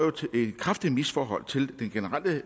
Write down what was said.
i kraftigt misforhold til den generelle